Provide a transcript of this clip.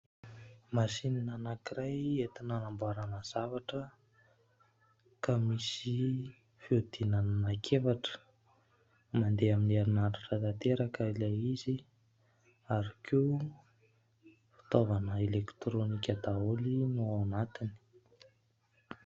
Masinina anankiray entina hanamboarana zavatra ka misy fiodinana anankiefatra. Mandeha amin'ny herinaratra tanteraka ilay izy ary koa fitaovana elektrônika daholo no ao anatiny.